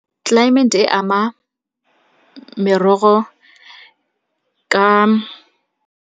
Tlelaemete e ama merogo ka.